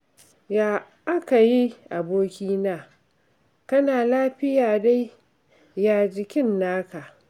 Ya aka yi abokina? Kana lafiya dai, ya jikin naka?